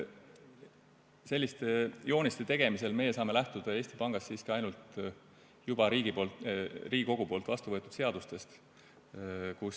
Selliste jooniste tegemisel saame me Eesti Pangas lähtuda siiski ainult Riigikogus juba vastu võetud seadustest.